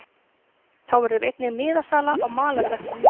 Þá verður einnig miðasala á malarvellinum.